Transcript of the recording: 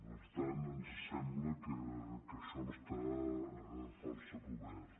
per tant ens sembla que això està força cobert